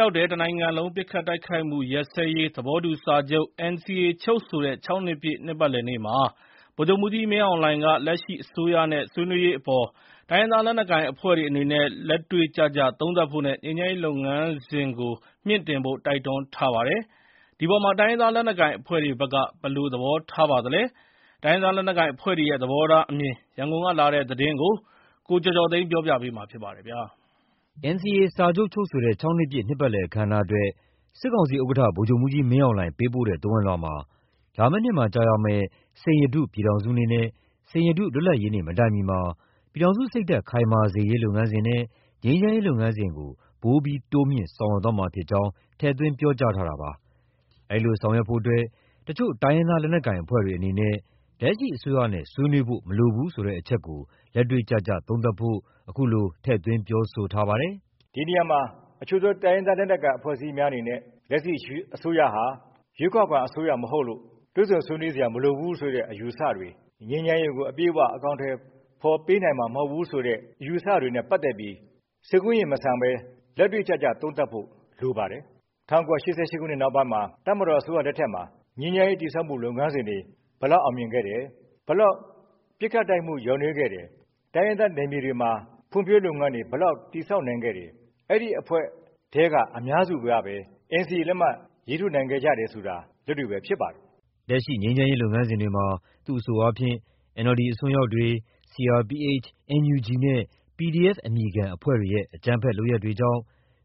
ရောက်တဲ့ တနိုင်ငံလုံးပစ်ခတ်တိုက်ခိုက်မှုရပ်စဲရေး သဘောတူစာချုပ် (NCA) ချုပ်ဆိုတဲ့ ၆နှစ်ပြည့် နှစ်ပတ်လည်နေ့မှာ ဗိုလ်ချုပ်မှူးကြီးမင်းအောင်လှိုင်က လက်ရှိအစိုးရနဲ့ ဆွေးနွေးရေးအပေါ် တိုင်းရင်းသား လက်နက်ကိုင်အဖွဲ့တွေအနေနဲ့ လက်တွေ့ကျကျသုံးသပ်ဖို့နဲ့ ငြိမ်းချမ်းရေးလုပ်ငန်းစဉ်ကို မြှင့်တင်ဖို့ တိုက်တွန်းထားပါတယ်။ ဒီအပေါ်မှာ တိုင်းရင်းသားလက်နက်ကိုင်အဖွဲ့တွေဘက်က ဘယ်လို သဘောထားပါသလဲ။ တိုင်းရင်းသားလက်နက်ကိုင်အဖွဲ့တွေရဲ့ သဘောထားအမြင် ရန်ကုန်ကလာတဲ့သတင်းကို ကိုကျော်ကျော်သိန်းက တင်ပြပေးထားပါတယ်။ စစ်ကောင်စီဥက္ကဋ္ဌ ဗိုလ်ချုပ်မှူးကြီးမင်းအောင်လှိုင်က NCA စာချုပ် ချုပ်ဆိုတဲ့ ၆ နှစ်ပြည့် နှစ်ပတ်လည်အခမ်းအနားကို ပေးပို့တဲ့သဝဏ်လွှာမှာ လာမယ့်နှစ်မှာကျရောက်မယ့် စိန်ရတု ပြည်ထောင်စုနေ့နဲ့ စိန်ရတု လွတ်လပ်ရေးနေ့ မတိုင်မီမှာ ပြည်ထောင်စုစိတ်ဓါတ် ခိုင်မာစေရေးလုပ်ငန်းစဉ်နဲ့ ငြိမ်းချမ်းရေးလုပ်ငန်းစဉ်ကို ပိုမိုတိုးမြှင့်ဆောင်ရွက်သွားမှာဖြစ်ကြောင်း ထည့်သွင်းပြောကြားခဲ့တာပါ။ ဒီလို ဆောင်ရွက်ဖို့ အချို့ တိုင်းရင်းသား လက်နက်ကိုင်အဖွဲ့တွေအနေနဲ့ လက်ရှိအစိုးရနဲ့ ဆွေးနွေးဖို့မလိုဘူးဆိုတဲ့အချက်ကို လက်တွေ့ကျကျသုံးသပ်ဖို့လည်း အခုလို ထည့်သွင်းပြောဆိုပါတယ်။ “ဒီနေရာမှာ တချို့သော တိုင်းရင်းသားလက်နက်ကိုင် အဖွဲ့အစည်းများအနေနဲ့ လက်ရှိအစိုးရဟာ ရွေးကောက်ခံအစိုးရမဟုတ်လို့ တွေ့ဆုံဆွေးနွေးစရာမလိုဘူးဆိုတဲ့ အယူအဆတွေ၊ ငြိမ်းချမ်းရေးကို အပြည့်အဝ အကောင်အထည်ဖော်ပေးနိုင်မှ ာမဟုတ်ဘူးဆိုတဲ့ အယူအဆတွေနဲ့ပတ်သက်ပြီး စိတ်ကူးယဉ်မဆန်ဘဲ လက်တွေ့ကျကျ သုံးသပ်ဖို့လိုပါတယ်။ ၁၉၈၈ နောက်ပိုင်းမှာ တပ်မတော်အစိုးရလက်ထက်မှာ ငြိမ်းချမ်းရေးတည်ဆောက်မှုလုပ်ငန်းစဉ်တွေ ဘယ်လောက် ပစ်ခတ်တိုက်ခိုက်မှု လျော့နည်းခဲ့တယ်။ တိုင်းရင်းသားနယ်မြေတွေမှာ ဖွံ့ဖြိုးရေးလုပ်ငန်းတွေ ဘယ်လောက် တည်ဆောက်နိုင်ခဲ့တယ်။ အဲဒီအဖွဲ့ထဲက အများစုကပဲ NCA လက်မှတ် ရေးထိုးနိုင်ခဲ့တာဟာ လက်တွေ့ပဲ ဖြစ်ပါတယ်။” လက်ရှိငြိမ်းချမ်းရေးလုပ်ငန်းစဉ်တွေမှာ သူ့အဆို NLD အစွန်းရောက်တွေ၊ CRPH၊ NUG နဲ့ PDF အမည်ခံ အဖွဲ့တွေရဲ့ အကြမ်းဖက်လုပ်ရပ်တွေကြောင့်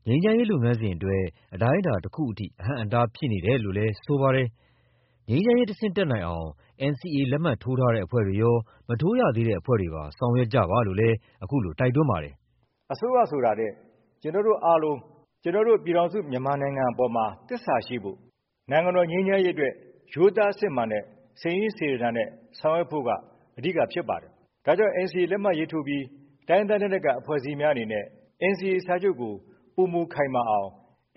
ငြိမ်းချမ်းရေးလုပ်ငန်းစဉ်အတွက် အတိုင်းအတာတခုအထိ အဟန့်အတားဖြစ်နေတယ်လို့လည်း ဆိုပါတယ်။ ငြိမ်းချမ်းရေးတဆင့်တက်နိုင်အောင် NCA လက်မှတ်ထိုးထားတဲ့အဖွဲ့တွေရော မထိုးရသေးတဲ့အဖွဲ့တွေပါ ဆောင်ရွက်ကြပါလို့လည်း ခုလိုတိုက်တွန်းပါတယ်။ “အစိုးရဆိုတာထက် ကျနော်တို့အားလုံး ကျနော်တို့ ပြည်ထောင်စုမြန်မာနိုင်ငံအပေါ်မှာ သစ္စာရှိဖို့၊ နိုင်ငံတော်ငြိမ်းချမ်းရေးတွက် ရိုးသားစစ်မှန်တဲ့ စိတ်ရင်းစေတနာနဲ့ ဆောင်ရွက်ဖို့က အဓိကဖြစ်ပါတယ်။ ဒါကြောင့် NCA လက်မှတ်ရေးထိုးပြီး တိုင်းရင်းသားလက်နက်ကိုင် အဖွဲ့အစည်းများအနေနဲ့ NCA စာချုပ်ကို ပိုမိုခိုင်မာအောင်၊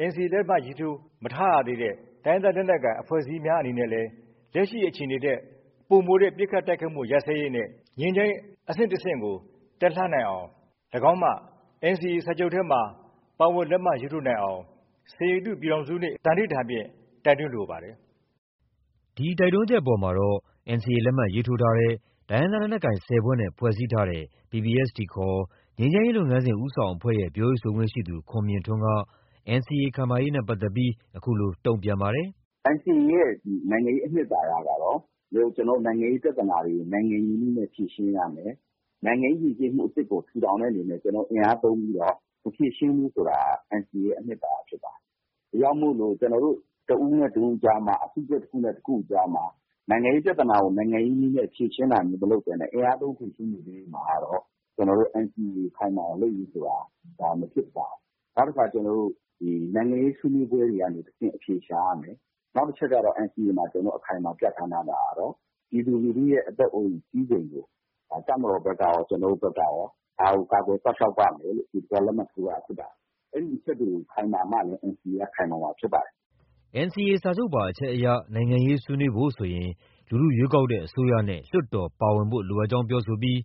NCA လက်မှတ်ရေးထိုးမထားရသေးတဲ့ တိုင်းရင်းသားလက်နက်ကိုင် အဖွဲ့အစည်းများအနေနဲ့လည်း လက်ရှိအခြေအနေထက် ပိုမိုတဲ့ ပစ်ခတ်တိုက်ခိုက်မှုရပ်စဲရေးနဲ့ ငြိမ်းချမ်းရေးအဆင့်တဆင့် တက်လှမ်းနိုင်အောင်၊ ၎င်းမှ NCA စာချုပ်ထဲမှာ ပါဝင်လက်မှတ်ရေးထိုးနိုင်အောင် စိန်ရတု ပြည်ထောင်စုနေ့ သန္နိဋ္ဌာန်ဖြင့် တိုက်တွန်းလိုပါတယ်။” ဒီတိုက်တွန်းချက်အပေါ်မှာတော့ NCA လက်မှတ်ရေးထိုးထားတဲ့ တိုင်းရင်းသားလက်နက်ကိုင် ၁၀ ဖွဲ့နဲ့ ဖွဲ့စည်းထားတဲ့ PPST ခေါ် ငြိမ်းချမ်းရေးလုပ်ငန်းစဉ် ဦးဆောင်အဖွဲ့ရဲ့ ပြောရေးဆိုခွင့်ရှိသူ ခွန်မြင့်ထွန်းက NCA ခိုင်မာရေးနဲ့ပတ်သက်ပြီး အခုလို ပြောပါတယ်။ “NCA ရဲ့နိုင်ငံရေးအနှစ်သာရကတော့ နိုင်ငံရေးပြဿနာတွေကို နိုင်ငံရေးနည်းနဲ့ ဖြေရှင်းရမယ်။ နိုင်ငံရေးယဉ်ကျေးမှုအသစ်ကို ထူထောင်တဲ့အနေနဲ့ ကျနော်တို့ အင်အားသုံးပြီးတော့ မဖြေရှင်းဘူးဆိုတာ NCA ရဲ့ အနှစ်သာရဖြစ်တယ်။ ဒါကြောင့်မို့ ကျနော်တို့ တဦးနဲ့တဦးကြားမှာ၊ အစုအဖွဲ့ တခုနဲ့ တခုကြားမှာ နိုင်ငံရေးပြဿနာကို နိုင်ငံရေးနည်းနဲ့ မဖြေရှင်းဘဲနဲ့ အင်အားသုံး ဖြေရှင်းနေသရွေ့ကတော့ NCA ခိုင်မာအောင်လုပ်ရေးဆိုတာက ဒါ မဖြစ်ပါဘူး။ နောက်တခါ နိုင်ငံရေးဆွေးနွေးပွဲတွေကနေ အဖြေရှာရမယ်။ နောက်တချက်က NCA မှာ အခိုင်အမာပြဌာန်းထားတာကတော့ ပြည်သူလူထုရဲ့ အသက်အိုးအိမ်စည်းစိမ်ကို တပ်မတော်ဘက်ကရော၊ ကျနော်တို့ဘက်ကရော၊ ဒါကို ကာကွယ်စောင့်ရှောက်ပါမယ်လို့ လက်မှတ်ရေးထိုးထားတာဖြစ်ပါတယ်။ အဲဒီအချက်တွေခိုင်မာမှလည်း NCA က ခိုင်မာမှာဖြစ်ပါတယ်။” NCA စာချုပ်ပါအချက်အရ နိုင်ငံရေးဆွေးနွေးဖို့ဆိုရင် လူထုရွေးကောက်တဲ့ အစိုးရနဲ့ လွှတ်တော်ပါဝင်ဖို့ လိုအပ်ကြောင်းပြောဆိုပြီး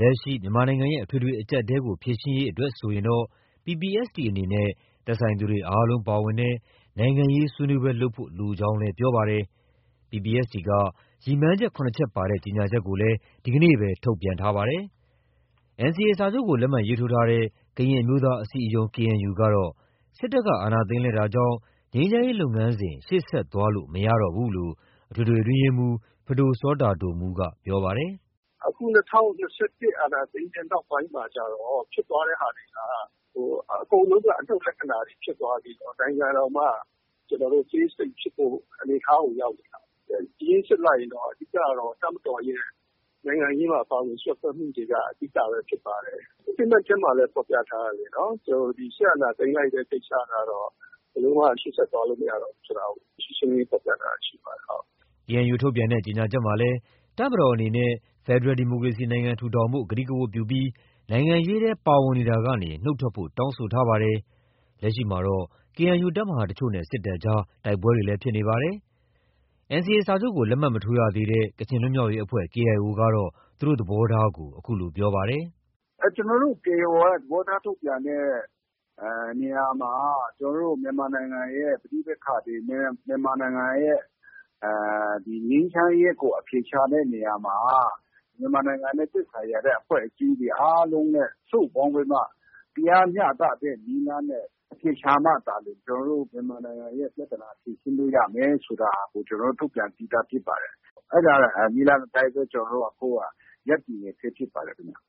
လက်ရှိ မြန်မာနိုင်ငံရဲ့ အထွေထွေအကျပ်အတည်းတွေကို ဖြေရှင်းရေးအတွက် ဆိုရင်တော့ PPST အနေနဲ့ သက်ဆိုင်သူတွေအားလုံးပါဝင်တဲ့ နိုင်ငံရေးဆွေးနွေးပွဲလုပ်ဖို့လိုကြောင်းလည်း ပြောပါတယ်။ PPST က ရည်မှန်းချက် ၇ ချက်ပါတဲ့ ကြေညာချက်ကိုလည်း ဒီနေ့ထုတ်ပြန်ထားပါတယ်။ NCA စာချုပ်ကို လက်မှတ်ရေးထိုးထားတဲ့ ကရင်အမျိုးသား အစည်းအရုံး KNU ကတော့ စစ်တပ်က အာဏာသိမ်းလိုက်တာကြောင့် ငြိမ်းချမ်းရေးလုပ်ငန်းစဉ်ဟာ ရှေ့ဆက်သွားလို့ မရတော့ဘူးလို့ အထွေထွေအတွင်းရေးမှူး ပဒိုစောတာဒိုမူးက ပြောပါတယ်။ “အခု ၂၀၂၁ အာဏာသိမ်းတဲ့နောက်ပိုင်းမှာကျတော့ ဖြစ်သွားတဲ့ဟာတွေက အကုန်လုံးအတွက် အနုတ်လက္ခာတွေဖြစ်သွားပြီး နိုင်ငံတောင်မှ ကျနော်တို့ အသေးစိတ်ဖြစ်ဖို့ အနေအထားကို ရောက်နေတာ။အရင်းစစ်လိုက်ရင် အဓိကက တပ်မတော်ရဲ့ နိုင်ငံရေးမှာ ပါဝင်စွက်ဖက်မှုတွေက အဓိကပဲဖြစ်ပါတယ်။ Statement ထဲမှာလည်း ဖော်ပြထားတယ်လေ။ စစ်အာဏာသိမ်းလိုက်တဲ့အတွက်ကြောင့် ဘယ်လိုမှ ရှေ့ဆက်သွားလို့ မရတော့ဘူးဆိုတာကို ရှင်းရှင်းလင်းလင်း ဖော်ပြထားတာရှိပါတယ်။” KNU ထုတ်ပြန်တဲ့ ကြေညာချက်မှာလည်း တပ်မတော်အနေနဲ့ ဖက်ဒရယ်ဒီမိုကရေစီနိုင်ငံထူထောင်ဖို့ ကတိကဝတ်ပြုပြီး နိုင်ငံရေးထဲ ပါဝင်နေမှုကနေ နုတ်ထွက်ဖို့ တောင်းဆိုထားပါတယ်။ လက်ရှိမှာ KNU တပ်မဟာတချို့နဲ့ စစ်တပ်ကြား တိုက်ပွဲတွေလည်း ဖြစ်ပွားနေပါတယ်။ NCA စာချုပ်ကို လက်မှတ်မရေးထိုးသေးတဲ့ ကချင်လွတ်မြောက်ရေးအဖွဲ့ KIO ကတော့ သူတို့ရဲ့ သဘောထားကို အခုလို ပြောပါတယ်။ “ကျနော်တို့ တရားဝင်သဘောထား ထုတ်ပြန်တဲ့နေရာမှာ ကျနော်တို့ မြန်မာနိုင်ငံရဲ့ ပဋိပက္ခတွေ၊ မြန်မာနိုင်ငံရဲ့ ငြိမ်းချမ်းရေးကို အဖြေရှာတဲ့နေရာမှာ မြန်မာနိုင်ငံနဲ့ သက်ဆိုင်နေတဲ့ အဖွဲ့တွေအားလုံးနဲ့ စုပေါင်းပြီးမှ တရားမျှတတဲ့နည်းလမ်းနဲ့ အဖြေရှာမှသာလျှင် ကျနော်တို့ မြန်မာနိုင်ငံရဲ့ ပြဿနာဖြေရှင်းလို့ ရမယ်ဆိုတာကို ကျနော်တို့ ထုတ်ပြန်ပြီးသားဖြစ်ပါတယ်။ အဲဒီနည်းလမ်းအတိုင်းပဲ ကျနော်တို့က ရပ်တည်နေဆဲ ဖြစ်ပါတယ်ခင်ဗျ။”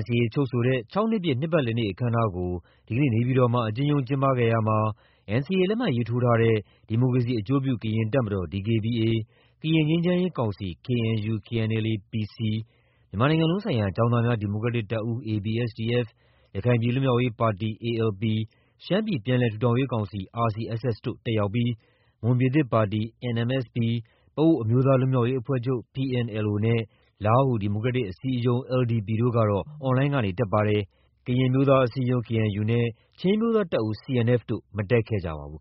NCA ချုပ်ဆိုတဲ့ ၆ နှစ်ပြည့် နှစ်ပတ်လည်နေ့အခမ်းအနားကို ဒီကနေ့ နေပြည်တော်မှာ အကျဉ်းရုံးကျင်းပခဲ့ရာမှာ NCA လက်မှတ်ရေးထိုးထားတဲ့ ဒီမိုကရေစီအကျိုးပြု ကရင်တပ်မတော် DKBA၊ ကရင်ငြိမ်းချမ်းရေးကောင်စီ KUN/ KNLA –PC ၊ မြန်မာနိုင်ငံလုံးဆိုင်ရာ ကျောင်းသားများ ဒီမိုကရက်တစ်တပ်ဦး ABSDF၊ ရခိုင်ပြည်လွတ်မြောက်ရေးပါတီ ALP၊ ရှမ်းပြည်ပြန်လည်ထူထောင်ရေးကောင်စီ RCSS တို့ တက်ရောက်ပြီး မွန်ပြည်သစ်ပါတီ NMSP၊ ပအို့ဝ် အမျိုးသားလွတ်မြောက်ရေးအဖွဲ့ချုပ် PNLO နဲ့ လားဟူဒီမိုကရက်တစ်အစည်းအရုံး LDU တို့ ကတော့ online ကနေ တက်ရောက်ပါတယ်။ ကရင်အမျိုးသားအစည်းအရုံး KNU နဲ့ ချင်းအမျိုးသားတပ်ဦး CNF တို့က မတက်ခဲ့ပါဘူး